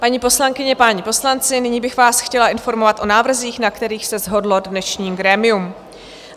Paní poslankyně, páni poslanci, nyní bych vás chtěla informovat o návrzích, na kterých se shodlo dnešní grémium.